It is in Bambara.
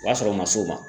O b'a sɔrɔ o ma s'o ma